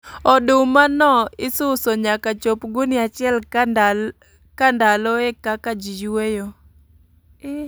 Oduma no isuso nyaka chop gunia achiel ka ndalo e kaka ji yueyo